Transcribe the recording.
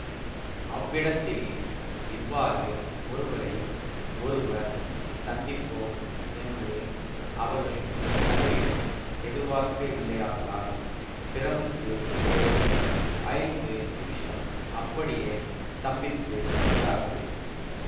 அவ்விடத்தில் இவ்வாறு ஒருவரை ஒருவர் சந்திப்போம் என்று அவர்கள் கனவிலும் எதிர்பார்க்கவில்லையாதலால் பிரமித்துப் போய் ஐந்து நிமிஷம் அப்படியே ஸ்தம்பித்து நின்றார்கள்